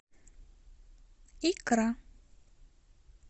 икра